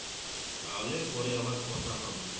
তাহলে পরে আবার কথা হবে